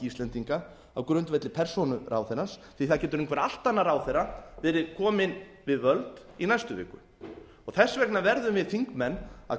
íslendinga á grundvelli persónu ráðherrans því það getur einhver allt annar ráðherra verið kominn við völd í næstu viku þess vegna verðum við þingmenn að